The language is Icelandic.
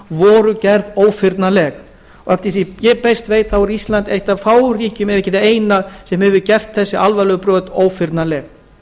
voru gerð ófyrnanleg og að því ég best veit er ísland eitt af fáum ríkjum ef ekki það eina sem hefur gert þessi alvarlegu brot ófyrnanleg